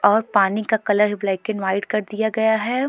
और पानी का कलर ब्लैक एंड वाइट कर दिया गया है।